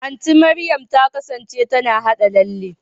Anti Mariam ta kasance tana haɗa lalle.